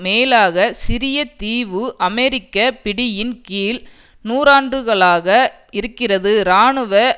மேலாக சிறிய தீவு அமெரிக்க பிடியின் கீழ் நூறாண்டுகளாக இருக்கிறது இராணுவ